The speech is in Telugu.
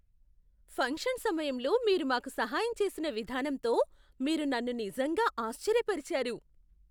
ఫంక్షన్ సమయంలో మీరు మాకు సహాయం చేసిన విధానంతో మీరు నన్ను నిజంగా ఆశ్చర్యపరిచారు!